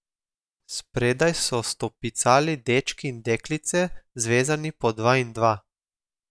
Spredaj so stopicali dečki in deklice, zvezani po dva in dva.